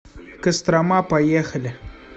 кострома поехали